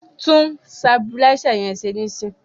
Tún sabuláísà yẹn ṣe níìsín!